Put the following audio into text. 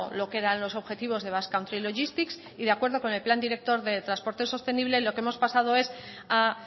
lo que eran los objetivos de basque country logistics y de acuerdo con el plan director de transporte sostenible lo que hemos pasado es a